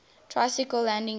tricycle landing gear